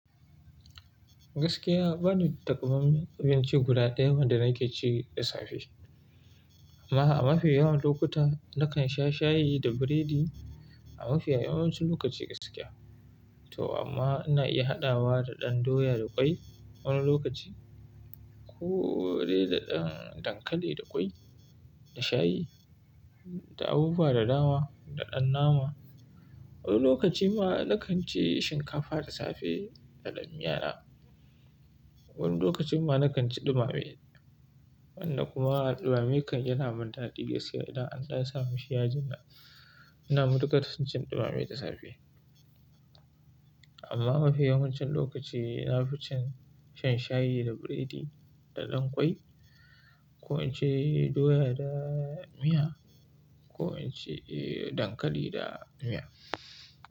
Gaskiya bani da ta kamamman abinci guda ɗaya wanda nake ci da safe. Amma a mafi yawan lokuta nakan sha shayi da biredi a mafi yawancin lokaci gaskiya. To amma ina iya haɗawa da ɗan doya da ƙwai wani lokaci ko dai da ɗan dankali da ƙwai, da shayi, da abubuwa da dama, da ɗan nama. Wani lokaci ma na kan ci shinkafa da safe da dan miya na. Wani lokacin ma na kan ci ɗumame. Wannan kuma ɗumamen kan yana min daɗi gaskiya idan an sa mashi yaji. Ina matukar cin ɗumame da safe. Amma mafi yawancin lokaci na fi shan shayi da biredi da ɗan ƙwai ko in ci doya da miya ko in ci dankali da miya.